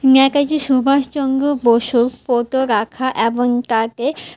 নেকাজি সুভাষচঙ্গ বসু পোতো রাখা এবং তাতে--